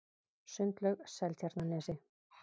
Sundlaug Seltjarnarnesi